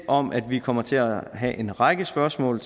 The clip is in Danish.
om at vi kommer til at have en række spørgsmål